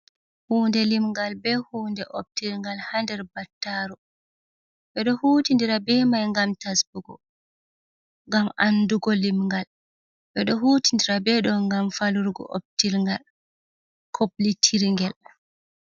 Huunde limngal bee huunde ɓoptilgal haa nder battaaru ɓe doy huutidira bee mai ngam tasbugo ngam anndugo limgal ɓe ɗo do huutindira bee ɗo'o ngam falurgo optilgal kuplitirgel.